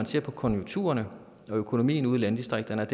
ser på konjunkturerne at økonomien i landdistrikterne